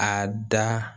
A da